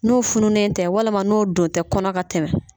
N'o fununen tɛ walima n'o don tɛ kɔnɔ ka tɛmɛ